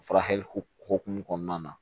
Furakɛli hukumu kɔnɔna na